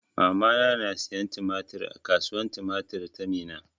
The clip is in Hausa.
Mamana na siyan tumatir a kasuwan tumatir ta Minna.